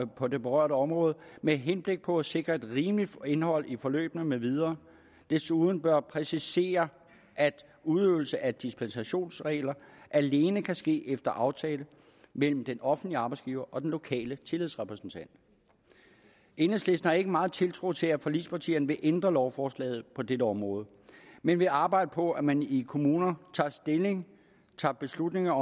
på det berørte område med henblik på at sikre et rimeligt indhold i forløbene med videre desuden bør præcisere at udøvelse af dispensationsregler alene kan ske efter aftale mellem den offentlige arbejdsgiver og den lokale tillidsrepræsentant enhedslisten har ikke meget tiltro til at forligspartierne vil ændre lovforslaget på dette område men vi arbejder på at man i kommunerne tager stilling tager beslutninger